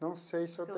Não sei se eu